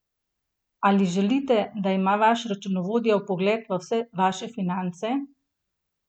Ali želite, da ima vaš računovodja vpogled v vse vaše finance?